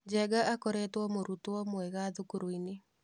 Njenga akoretwo mũrutwo mwega thukuru-inĩ.